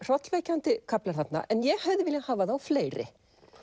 hrollverkjandi kaflar þarna en ég hefði viljað hafa þá fleiri